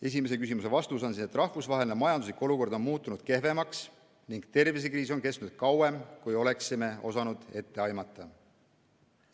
Esimese küsimuse vastus on see, et rahvusvaheline majanduslik olukord on muutunud kehvemaks ning tervisekriis on kestnud kauem, kui oleksime osanud ette aimata.